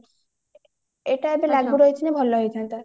ଏଇଟା ଏବେ ଲାଗୁ ରହିଥିଲେ ଭଲ ହେଇଥାନ୍ତା